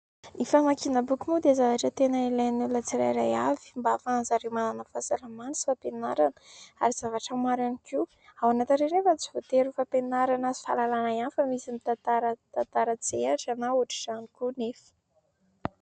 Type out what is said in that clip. Ny famakiana boky moa dia zavatra tena ilain'ny olona tsirairay avy mba hahafahan'ny zareo manana fahasalamana sy fampianarana ary zavatra maro ihany koa. Ao anatin'ireny nefa tsy voatery ho fampianarana sy fahalalana ihany fa misy mitantara tantara an-tsehara na ohatr'izany koa nefa.